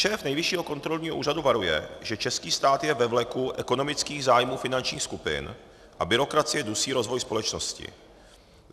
Šéf nejvyššího kontrolního úřadu varuje, že český stát je ve vleku ekonomických zájmů finančních skupin a byrokracie dusí rozvoj společnosti.